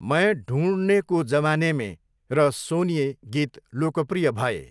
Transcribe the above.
मैं ढुँढने को जमाने मे' र 'सोनिए' गीत लोकप्रिय भए।